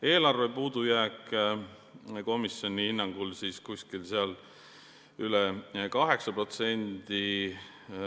Eelarve puudujääk komisjoni hinnangul on üle 8%.